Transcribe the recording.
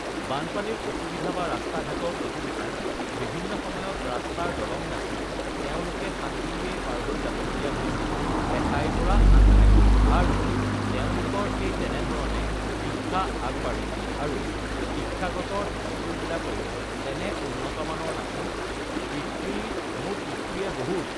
বানপানীৰ অসুবিধা বা ৰাস্তা-ঘাটৰ অসুবিধা, বিভিন্ন সময়ত ৰাস্তাৰ দলং নাছিল, তেওঁলোকে ugh সাঁতুৰিয়েই ugh পাৰ হৈ যাব লগীয়া হৈছিল এঠাইৰ পৰা আন ঠাইলৈ আৰু তেওঁলোকৰ সেই তেনেধৰণে শিক্ষা আগবাঢ়িছিল আৰু শিক্ষাগতৰ স্কুলবিলাকৰো তেনে উন্নতমানৰ নাছিল uhh পিতৃ মোৰ পিতৃয়ে বহুত